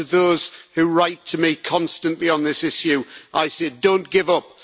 And to those who write to me constantly on this issue, I say don't give up.